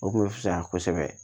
O kun bɛ fisaya kosɛbɛ